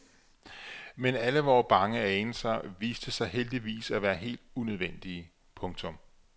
Men alle vore bange anelser viste sig heldigvis at være helt unødvendige. punktum